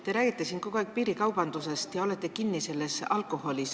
Te räägite siin kogu aeg piirikaubandusest ja olete kinni alkoholiteemas.